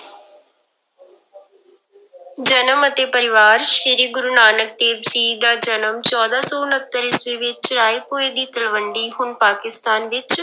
ਜਨਮ ਅਤੇ ਪਰਿਵਾਰ ਸ੍ਰੀ ਗੁਰੂ ਨਾਨਕ ਦੇਵ ਜੀ ਦਾ ਜਨਮ ਚੌਦਾਂ ਸੌ ਉਣਤਰ ਈਸਵੀ ਵਿੱਚ ਰਾਏਭੋਇ ਦੀ ਤਲਵੰਡੀ ਹੁਣ ਪਾਕਿਸਤਾਨ ਵਿੱਚ